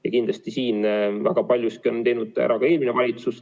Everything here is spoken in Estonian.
Ja kindlasti on siin väga palju ära teinud ka eelmine valitsus.